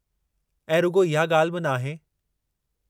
ऐं रुॻो इहा ॻाल्हि बि नाहे।